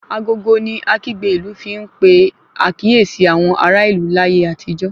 Agogo ni akígbe ìlú fi n pe àkíyèsí àwọn ará ìlú láyé àtijó